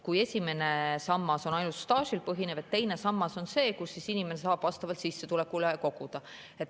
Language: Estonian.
Esimene sammas olla ainult staažil põhinev, teine sammas on see, kuhu inimene saab vastavalt sissetulekule koguda.